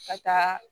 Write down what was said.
Ka taa